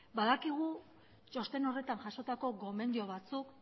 badakigu txosten horretan jasotako gomendio batzuk